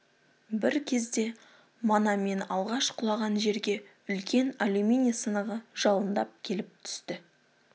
бір кезде мана мен алғаш құлаған жерге үлкен алюминий сынығы жалындап келіп түсті